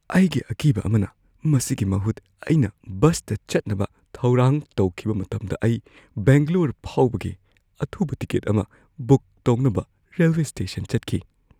ꯑꯩꯒꯤ ꯑꯀꯤꯕ ꯑꯃꯅ, ꯃꯁꯤꯒꯤ ꯃꯍꯨꯠ ꯑꯩꯅ ꯕꯁꯇ ꯆꯠꯅꯕ ꯊꯧꯔꯥꯡ ꯇꯧꯈꯤꯕ ꯃꯇꯝꯗ ꯑꯩ ꯕꯦꯡꯒꯂꯣꯔ ꯐꯥꯎꯕꯒꯤ ꯑꯊꯨꯕ ꯇꯤꯀꯦꯠ ꯑꯃ ꯕꯨꯛ ꯇꯧꯅꯕ ꯔꯦꯜꯋꯦ ꯁ꯭ꯇꯦꯁꯟ ꯆꯠꯈꯤ ꯫